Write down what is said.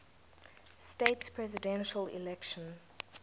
states presidential election